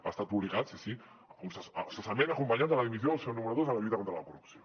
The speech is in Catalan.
ha estat publicat sí sí cessament acompanyat de la dimissió del seu número dos en la lluita contra la corrupció